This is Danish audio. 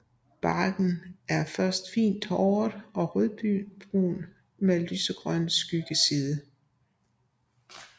Barken er først fint håret og rødbrun med lysegrøn skyggeside